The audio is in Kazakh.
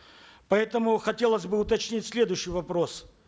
поэтому хотелось бы уточнить следующий вопрос